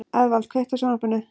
Eðvald, kveiktu á sjónvarpinu.